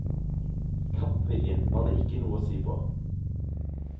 Kampviljen var det ikke noe å si på.